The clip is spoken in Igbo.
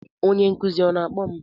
Onye nkuzi ọ na-akpọ m?